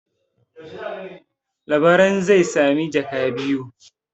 Labaran zai sami jaka biyu.